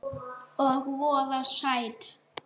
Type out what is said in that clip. Og voða sætt.